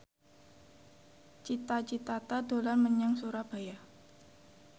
Cita Citata dolan menyang Surabaya